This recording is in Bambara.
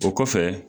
O kɔfɛ